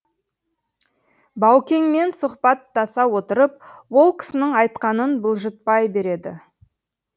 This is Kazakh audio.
баукеңменсұхбаттаса отырып ол кісінің айтқанын бұлжытпай береді